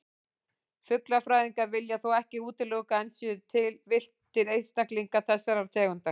Fuglafræðingar vilja þó ekki útilokað að enn séu til villtir einstaklingar þessarar tegundar.